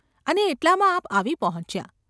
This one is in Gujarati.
અને એટલામાં આ૫ આવી પહોંચ્યા.